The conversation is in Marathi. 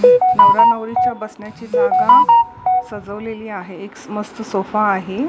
नवरा नवरीच्या बसण्याची जागा सजवलेली आहे एक मस्त सोफा आहे.